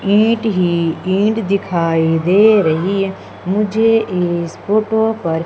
ईंट ही ईंट दिखाई दे रही है मुझे इस फोटो पर--